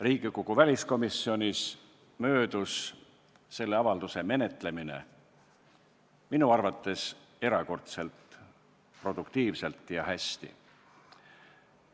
Riigikogu väliskomisjonis möödus selle avalduse menetlemine minu arvates erakordselt produktiivselt ja hästi.